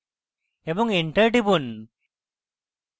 এবং enter টিপুন